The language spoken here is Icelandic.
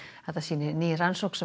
þetta sýnir ný rannsókn sem